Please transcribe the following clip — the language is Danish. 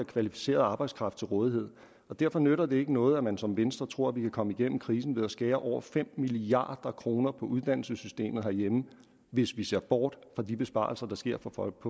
kvalificeret arbejdskraft til rådighed og derfor nytter det ikke noget at man som venstre tror vi kan komme igennem krisen ved at skære over fem milliard kroner ned på uddannelsessystemet herhjemme hvis vi ser bort fra de besparelser der sker på på